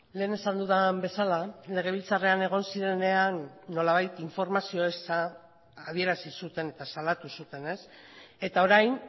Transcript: lehen esan dudan bezala legebiltzarrean egon zirenean nolabait informazio eza adierazi zuten eta salatu zuten eta orain